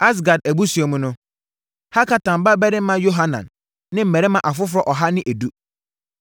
Asgad abusua mu no: Hakatan babarima Yohanan ne mmarima afoforɔ ɔha ne edu.